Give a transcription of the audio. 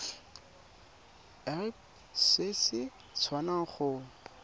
irp se se tswang go